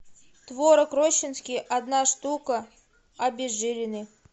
творог рощинский одна штука обезжиренный